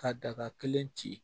Ka daga kelen ci